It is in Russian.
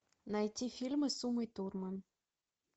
найти фильмы с умой турман